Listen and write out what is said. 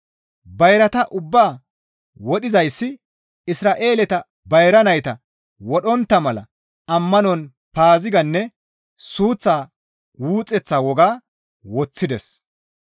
Bayrata ubbaa wodhizayssi Isra7eeleta bayra nayta wodhontta mala ammanon Paaziganne suuththa wuxeththa woga woththides.